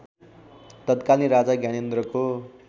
तत्कालीन राजा ज्ञानेन्द्रको